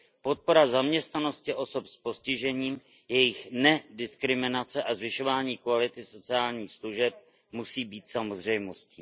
Podpora zaměstnanosti osob s postižením, jejich nediskriminace a zvyšování kvality sociálních služeb musí být samozřejmostí.